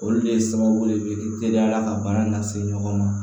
Olu de ye sababu de ye k'i teliya la ka baara lase ɲɔgɔn ma